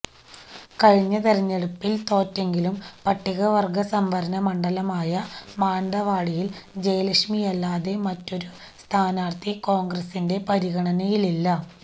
കഴിഞ്ഞ തെരഞ്ഞെടുപ്പില് തോറ്റെങ്കിലും പട്ടികവര്ഗ സംവരണമണ്ഡലമായ മാനന്തവാടിയില് ജയലക്ഷ്മിയല്ലാതെ മറ്റൊരു സ്ഥാനാര്ഥി കോണ്ഗ്രസിന്റെ പരിഗണനയിലില്ല